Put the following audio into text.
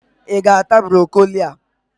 I ga-ata Brokoli a!